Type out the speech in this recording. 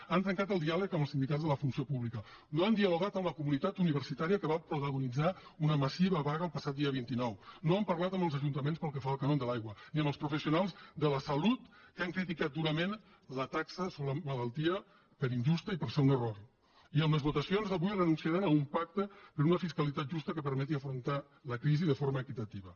han trencat el diàleg amb els sindicats de la funció pública no han dialogat amb la comunitat universitària que va protagonitzar una massiva vaga el passat dia vint nou no han parlat amb els ajuntaments pel que fa al cànon de l’aigua ni amb els professionals de la salut que han criticat durament la taxa sobre la malaltia per injusta i perquè és un error i amb les votacions d’avui renunciaran a un pacte per una fiscalitat justa que permeti afrontar la crisi de forma equitativa